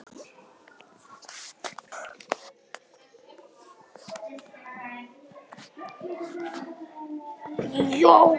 Tuttugu og þrjú!